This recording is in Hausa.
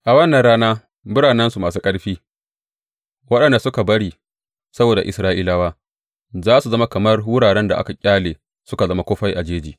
A wannan rana biranensu masu ƙarfi, waɗanda suka bari saboda Isra’ilawa, za su zama kamar wuraren da aka ƙyale suka zama kufai a jeji.